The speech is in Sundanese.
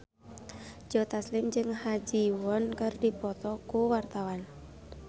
Joe Taslim jeung Ha Ji Won keur dipoto ku wartawan